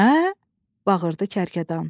Nə? bağırdı kərkədan.